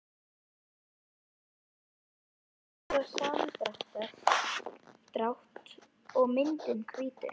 Það er mikilvægt fyrir taugaboð, vöðvasamdrátt og myndun hvítu.